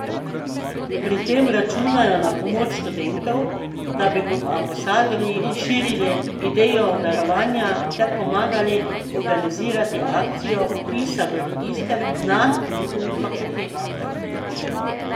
Pri tem računajo na pomoč študentov, da bi kot ambasadorji širili idejo darovanja ter pomagali organizirati akcijo vpisa v register na njihovih fakultetah.